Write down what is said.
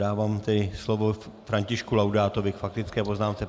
Dávám tedy slovo Františku Laudátovi k faktické poznámce.